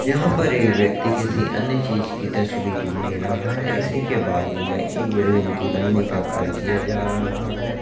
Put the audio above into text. यहां पर ये व्यक्ति किसी अन्य चीज़ की तस्वीर ले रहा है इसी के बाजू में एक बिल्डिंग के बन ने का कार्य किया जा रहा है।